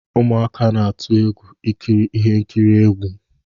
Ụmụaka na-atụ egwu ikiri ihe nkiri egwu